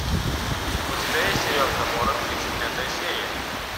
у тебя есть сериал гоморра тридцать пятая серия